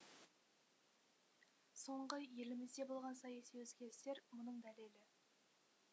соңғы елімізде болған саяси өзгерістер мұның дәлелі